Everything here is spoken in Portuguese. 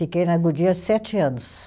Fiquei na Goodyear sete anos.